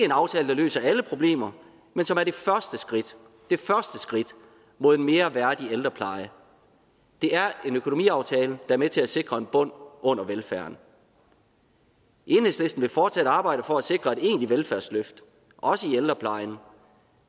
en aftale der løser alle problemer men som er det første skridt mod en mere værdig ældrepleje det er en økonomiaftale er med til at sikre en bund under velfærden enhedslisten vil fortsat arbejde for at sikre et egentligt velfærdsløft også i ældreplejen og